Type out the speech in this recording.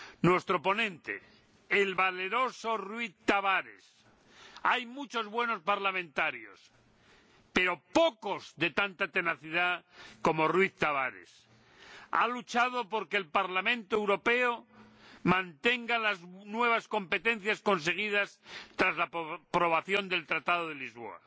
Nuestro ponente, el valeroso Rui Tavares hay muchos buenos parlamentarios pero pocos de tanta tenacidad como Rui Tavares ha luchado por que el Parlamento Europeo mantenga las nuevas competencias conseguidas tras la aprobación del Tratado de Lisboa.